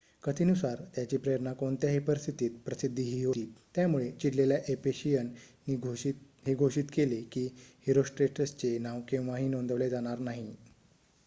कथेनुसार त्याची प्रेरणा कोणत्याही परिस्थितीत प्रसिद्धी ही होती त्यामुळे चिडलेल्या एफेशियन नि हे घोषित केले की हिरोस्ट्रेटस चे नाव केव्हाही नोंदवले जाणार नाही